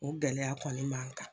O gɛlɛya kɔni b'an kan.